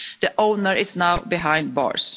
The owner is now behind bars.